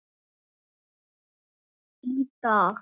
Í dag.